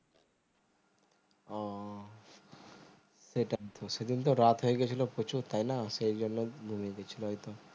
ও সেটাই তো সে দিন তো রাত হয়ে গেছিলো প্রচুর তাই না সেই জন্য ঘুমিয়ে গেছিলো হয়তো